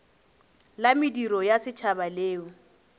la mediro ya setšhaba leo